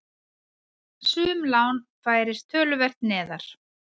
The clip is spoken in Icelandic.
Sum lán færist töluvert neðar.